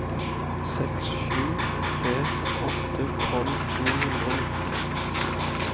seks sju tre åtte tolv ni hundre og nitten